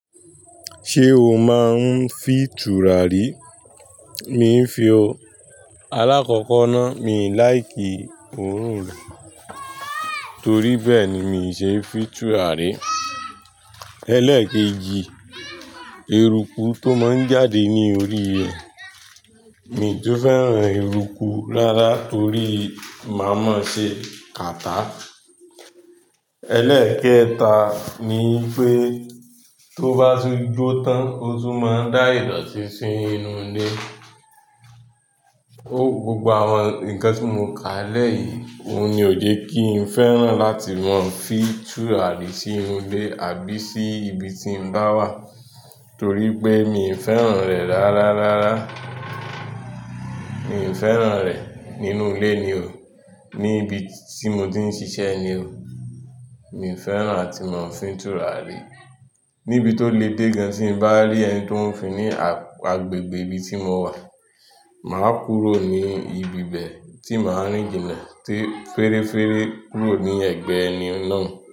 Ṣé o máa ń fi tùràrí? Mi ń fi o. Alákọ̀kọ́ náà, mi ò like òórùn lò, torí bẹ́ẹ̀ ni mi ò ṣe é fi tùràrí. Ẹlẹ́ẹ̀kejì, eruku tó máa ń jáde ní orí rẹ̀, mi tún fẹ́ràn eruku rárá torí máa máa ṣe catarrh Ẹlẹ́ẹ̀kẹta ni pé tó bá tun jó tán ó tún máa ń dá ìdọ̀tí sí inú ilé. Ó, gbogbo àwọn nǹkan tí mo ká lẹ́ yìí, òun ni ò je kí n fẹ́ràn láti máa ń fi tùràrí sí inú ilé àbí sí ibi tí mo bá wà torí pé mi ò fẹ́ràn rẹ̀ rárá rárá. Mi ò fẹ́ràn rẹ̀ nínú ilé ni o, ní ibi tí mo ti ń ṣiṣẹ́ ni o. Mi ò fẹ́ràn láti máa ń fi tùràrí. Níbi tó le dé gan tí mo bá rí ẹni tí ó ń fi ní agbègbè ibi tí mo wà, màá kúrò ní ibi bẹ̀ tí màá rìn jìnnà tí fẹ́ẹ́rẹ́fẹ́ kúrò ní ẹ̀gbẹ́ ẹni náà.